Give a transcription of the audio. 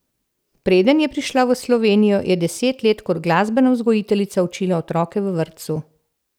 Preden je prišla v Slovenijo, je deset let kot glasbena vzgojiteljica učila otroke v vrtcu.